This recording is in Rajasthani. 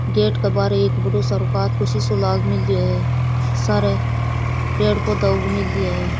गेट के बाहर एक बड़ों सारा सारे पेड़ पौधे उग मैल्या है।